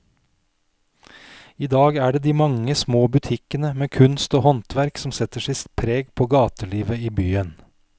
I dag er det de mange små butikkene med kunst og håndverk som setter sitt preg på gatelivet i byen.